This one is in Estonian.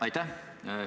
Aitäh!